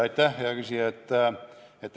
Aitäh, hea küsija!